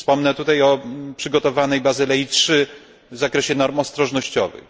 Wspomnę tutaj o przygotowanej Bazylei III w zakresie norm ostrożnościowych.